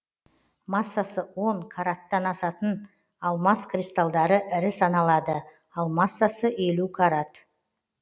массасы он караттан асатын алмас кристалдары ірі саналады ал массасы елу карат